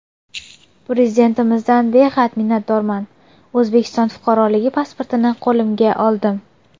Prezidentimizdan behad minnatdorman, O‘zbekiston fuqaroligi pasportini qo‘limga oldim.